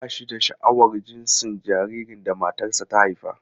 Ba shi da sha'awar jinsin jaririn da matarsa ​​ta haifa.